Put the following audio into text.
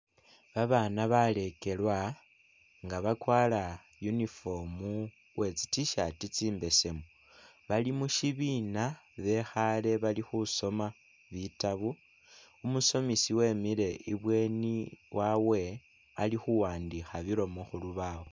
Babana balekelwa nga bakwara uniform uwe tsi t-shirt tsimbesemu bali mushibina bekhale bali khusoma bitabu umusomisi wemile ibweni wawe ali khuwandikha bilomo khulubawo.